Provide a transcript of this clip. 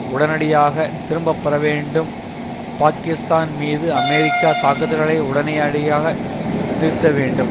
உடனடியாக திரும்ப பெற வேண்டும் பாக்கிஸ்தான் மீது அமெரிக்கா தாக்குதல்களை உடனனேஅடியாக நிறுத்த வேண்டும்